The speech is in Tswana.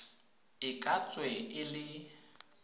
e ka tswe e le